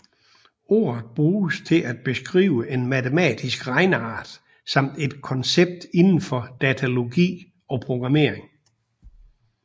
Ordet bruges til at beskrive en matematisk regneart samt et koncept indenfor datalogi og programmering